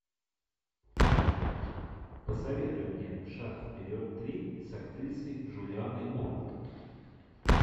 посоветуй мне шаг вперед три с актрисой джулианной мур